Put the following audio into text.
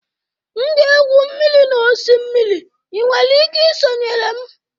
M ga-egwu mmiri n'osimiri, ị nwere ike sonyere m